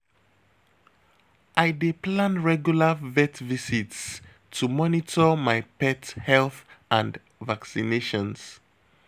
I dey plan regular vet visits to monitor my pet health and vaccinations.